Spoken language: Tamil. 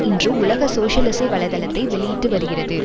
இன்று உலக சோசியலிச வலை தளத்தை வெளியிட்டு வருகிறது